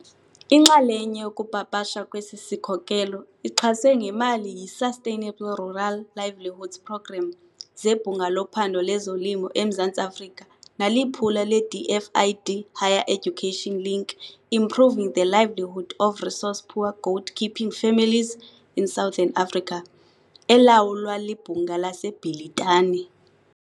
Inxalenye yokupapashwa kwesi sikhokelo ixhaswe ngemali yiSustainable Rural Livelihoods Programme zeBhunga loPhando lezoLimo, eMzantsi-Afrika naliphulo leDFID Higher Education Link, Improving the livelihood of resource-poor goat keeping families in southern Africa, elawulwa liBhunga laseBhilitane.